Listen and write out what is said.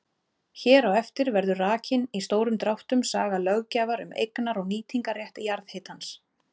Hér á eftir verður rakin í stórum dráttum saga löggjafar um eignar- og nýtingarrétt jarðhitans.